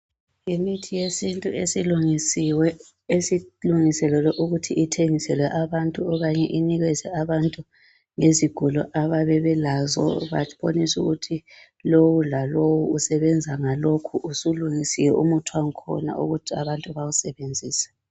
Yimithi yesintu esilungisiwe esilungiselelwe ukuthi ithengiswelwe abantu okanye inikizwe abantu ngezigulo abayabe belazo baboniswe ukuthi lowu lalowu usebebenza ngalokhu. Usulungisiwe umuthi wakhona ukuthi abantu bawusebenzise.